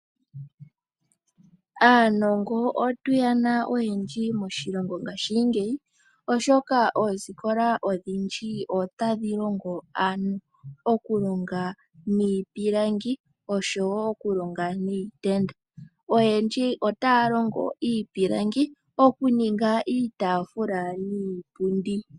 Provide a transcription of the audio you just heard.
Aanongo otuyena oyendji moshilongo ngaashingeyi oshoka oosikola odhindji otadhi longo aantu oku ninga iipilangi oshowo okulonga niitenda oyendji otaa longo iipilangi oku ninga iitafula niipundi.